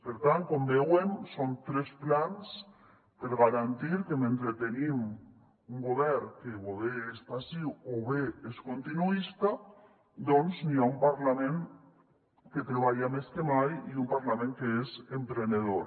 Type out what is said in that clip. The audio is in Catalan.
per tant com veuen són tres plans per garantir que mentre tenim un govern que o bé és passiu o bé és continuista doncs hi ha un parlament que treballa més que mai i un parlament que és emprenedor